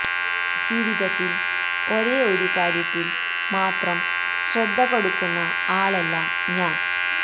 ജീവിതത്തില് ഒരേ ഒരു കാര്യത്തില് മാത്രം ശ്രദ്ധ കൊടുക്കുന്ന ആളല്ല ഞാന്